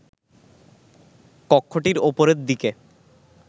কক্ষটির ওপরের দিকে